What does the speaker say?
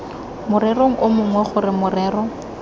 morerong o mongwe gore morero